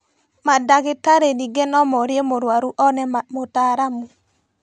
Mandagĩtarĩ ningĩ no morie mũrũaru one mũtaaramu